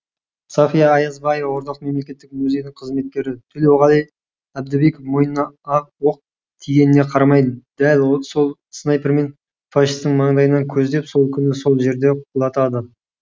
сафия аязбаева орталық мемлекеттік музейдің қызметкері төлеуғали әбдібеков мойнына оқ тигеніне қарамай дәл сол снайпермен фашистің маңдайынан көздеп сол күні сол жерде құлатады